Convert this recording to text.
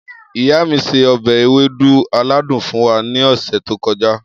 Iya mi se obe ewedu aladun fun wa ni ose to koja.